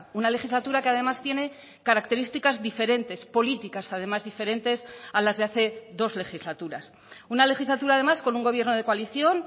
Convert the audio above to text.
una legislatura que además tiene características diferentes políticas además diferentes a las de hace dos legislaturas una legislatura además con un gobierno de coalición